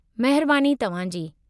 महिरबानी तव्हां जी!